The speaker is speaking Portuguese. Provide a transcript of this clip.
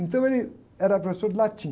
Então ele era professor de latim.